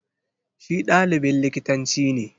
Shi ɗalibin likitanci ne.